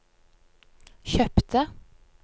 kjøpte